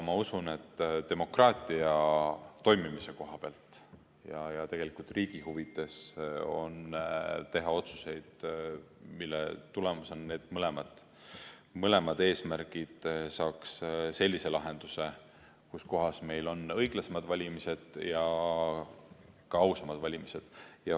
Ma usun, et demokraatia toimimise koha pealt ja tegelikult riigi huvides on teha otsuseid, mille tulemusena mõlemad eesmärgid saaksid sellise lahenduse, et meil on õiglasemad ja ka ausamad valimised.